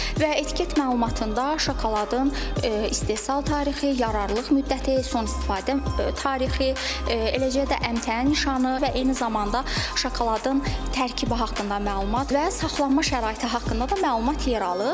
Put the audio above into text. Və etiket məlumatında şokoladın istehsal tarixi, yararlılıq müddəti, son istifadə tarixi, eləcə də əmtəə nişanı və eyni zamanda şokoladın tərkibi haqqında məlumat və saxlanma şəraiti haqqında da məlumat yer alır.